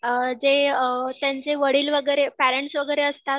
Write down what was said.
अ जे अ त्यांचे वडील वगैरे पेरेंट्स वगैरे असतात